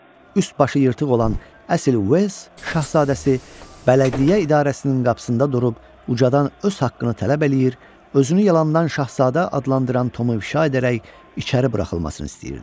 üst-başı yırtıq olan əsl Uels şahzadəsi, bələdiyyə idarəsinin qapısında durub ucadan öz haqqını tələb eləyir, özünü yalandan şahzadə adlandıran Tomu ifşa edərək içəri buraxılmasını istəyirdi.